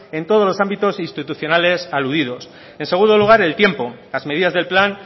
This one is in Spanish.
en todos los ámbitos institucionales aludidos en segundo lugar el tiempo las medidas del plan